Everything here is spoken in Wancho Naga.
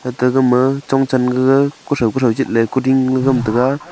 gaga ma chon chen gaga kuthow kuthow jit le kuding gama tega.